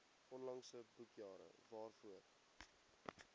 onlangse boekjare waarvoor